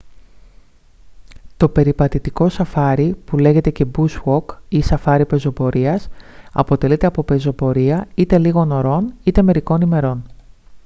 το περιπατητικό σαφάρι που λέγεται και «bush walk ή «σαφάρι πεζοπορίας» αποτελείται από πεζοπορία είτε λίγων ωρών είτε μερικών ημερών